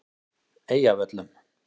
Eyjavöllum